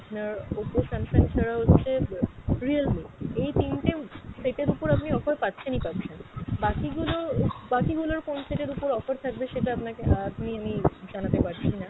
আপনার Oppo Samsung ছাড়া হচ্ছে ব realme এই তিনটে set এর ওপর আপনি অফার পাচ্ছেনই পাচ্ছেন, বাকি গুলো, বাকি গুলোর কোন set এর ওপর offer থাকবে সেটা আপনাকে আহ আমি জানাতে পারছি না।